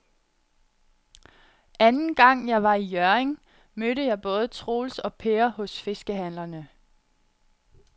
Anden gang jeg var i Hjørring, mødte jeg både Troels og Per hos fiskehandlerne.